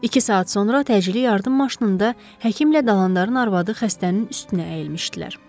İki saat sonra təcili yardım maşınında həkimlə Dalandarın arvadı xəstənin üstünə əyilmişdilər.